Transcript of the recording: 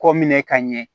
Kɔ minɛ ka ɲɛ